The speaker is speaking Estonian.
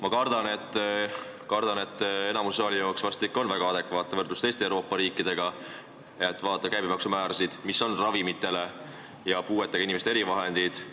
Aga ma kardan, et enamiku saali jaoks tundub vahest ikka väga adekvaatne võrrelda end teiste Euroopa riikidega ja vaadata käibemaksu määrasid, mis kehtivad ravimitele ja puuetega inimeste erivahenditele.